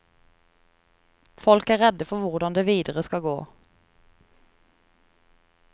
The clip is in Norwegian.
Folk er redde for hvordan det videre skal gå.